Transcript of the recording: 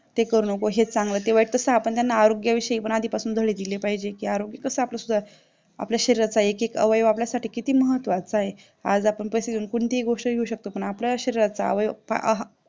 ते करू नको हे चांगलं ते वाईट आरोग्य विषयी आधीच धडे दिले पाहिजेत की आरोग्य कसं आपलं सुधारेल आपल्या शरीराचा एक एक अवयव आपल्यासाठी किती महत्त्वाचा आहे आज आपण पैसे देऊन कोणतीही गोष्ट घेऊ शकतो पण शरीराचा अवयव पहा आह